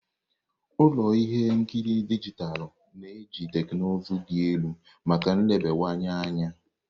Ụlọ ihe nkiri dijitalụ na-eji teknụzụ dị elu maka nlebawanye anya.